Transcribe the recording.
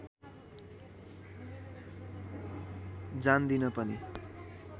जान्दिन पनि